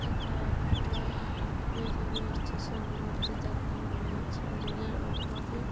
এটা একটা railway station মধ্যে দেখানো হয়েছে রেলের ওপরে --